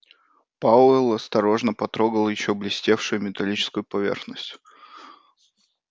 пауэлл осторожно потрогал ещё блестевшую металлическую поверхность